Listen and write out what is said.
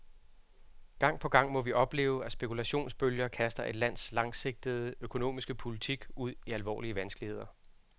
Gang på gang må vi opleve, at spekulationsbølger kaster et lands langsigtede økonomiske politik ud i alvorlige vanskeligheder.